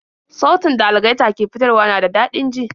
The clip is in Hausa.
Sautin da algaita ke fitarwa na da dadin ji